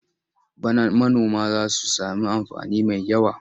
Bana manoma za su sami amfani mai yawa.